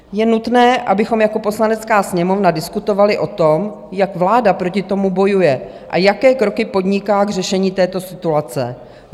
Je nutné, abychom jako Poslanecká sněmovna diskutovali o tom, jak vláda proti tomu bojuje a jaké kroky podniká k řešení této situace.